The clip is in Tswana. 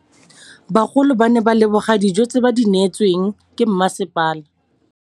Bagolo ba ne ba leboga dijô tse ba do neêtswe ke masepala.